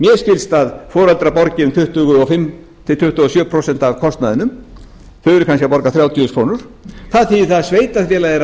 skilst að foreldrar borgi um tuttugu og fimm til tuttugu og sjö prósent af kostnaðinum þau borga kannski þrjátíu þúsund krónur það þýðir að sveitarfélagið